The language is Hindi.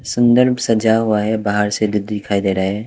सुंदर सजा हुआ है बाहर से जो दिखाई दे रहा है।